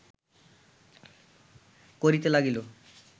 করিতে লাগিল